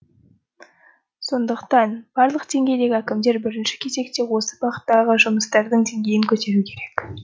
сондықтан барлық деңгейдегі әкімдер бірінші кезекте осы бағыттағы жұмыстардың деңгейін көтеру керек